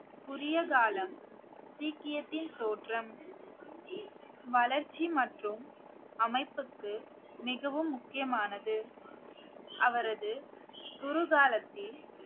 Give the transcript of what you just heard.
குரிய காலம் சீக்கியத்தின் தோற்றம் வளர்ச்சி மற்றும் அமைப்புக்கு மிகவும் முக்கியமானது அவரது குரு காலத்தில்